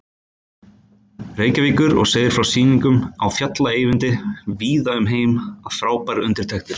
Reykjavíkur og segir frá sýningum á Fjalla-Eyvindi víða um heim við frábærar undirtektir.